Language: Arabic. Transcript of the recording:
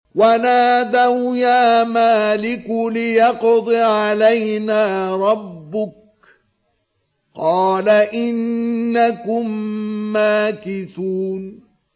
وَنَادَوْا يَا مَالِكُ لِيَقْضِ عَلَيْنَا رَبُّكَ ۖ قَالَ إِنَّكُم مَّاكِثُونَ